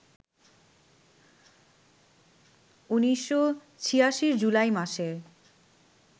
১৯৮৬-র জুলাই মাসে